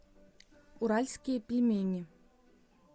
уральские пельмени